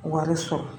Wari sɔrɔ